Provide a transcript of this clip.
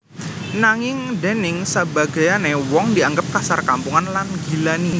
Nanging déning sabagéyané wong dianggep kasar kampungan lan nggilani